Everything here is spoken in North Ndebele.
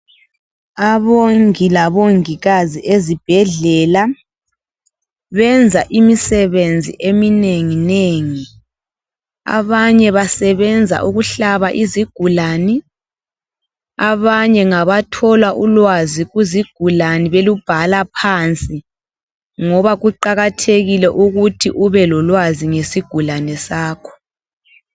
Abongi labongikazi ezibhedlela benza imisebenzi eminengi nengi abanye basebenza ukuhlaba izigulane abanye ngabathola ulwazi kuzigulane belubhala phansi ngoba Kuqakathekile ukuthi ube lolwazi ngesigulane sakho.